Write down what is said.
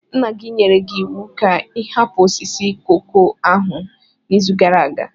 Nna gị nyere gị iwu ka ị hapụ osisi koko ahụ n'izu gara aga.